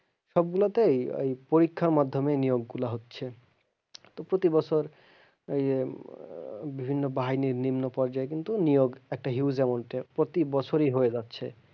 সবগুলা তেই ওই পরীক্ষার মাধ্যমে ওই নিয়োগ গুলা হচ্ছে, তো প্রতি বছর এই বিভিন্ন বাহিনীর নিম্ন পর্যায় কিন্তু নিয়োগ একটা huge amount এ প্রতি বছরই হয়ে যাচ্ছে।